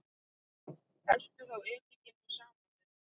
Helltu þá edikinu saman við.